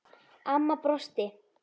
Amma brosti.